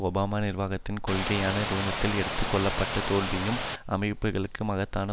Obama நிர்வாகத்தினதும் கொள்கையான நிறுவனத்தால் எடுத்து கொள்ளப்பட்ட தோல்வியுறும் அமைப்புக்களுக்கு மகத்தான